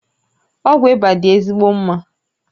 Ọgwụ ịba dị ezigbo mma